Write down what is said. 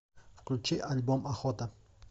включи альбом охота